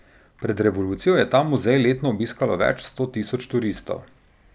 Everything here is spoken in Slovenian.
Pred revolucijo je ta muzej letno obiskalo več sto tisoč turistov.